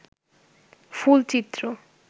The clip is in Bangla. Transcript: ফুল চিত্র